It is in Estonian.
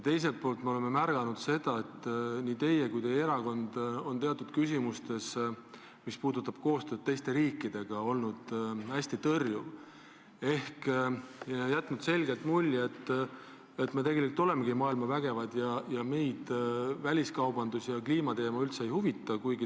Teiselt poolt me oleme märganud, et teatud küsimustes, mis puudutavad koostööd teiste riikidega, olete nii teie kui ka teie erakond olnud hästi tõrjuv ja jätnud selgelt mulje, et me tegelikult olemegi maailma vägevad ja meid väliskaubandus ja kliimateema üldse ei huvita.